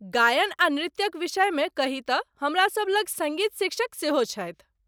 गायन आ नृत्यक विषयमे कही तँ, हमरासभ लग सङ्गीत शिक्षक सेहो छथि।